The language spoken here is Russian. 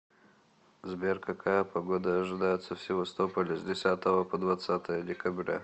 сбер какая погода ожидается в севастополе с десятого по двадцатое декабря